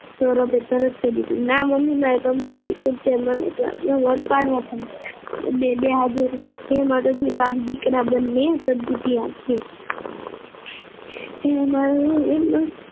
સૌરભે તરત જ કહી દીધું ના મમ્મી મારે કમ્પ્યુટર શીખવું જ છે મમ્મી class માં વટ પાડવો છે બે હાથ જોડું છુહે માતાજી બાપ દીકરા બંને સદ્બુદ્ધિ આપજે